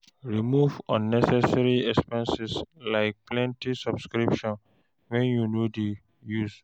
Remove unnecessary expenses like plenty subscriptions wey you no dey use.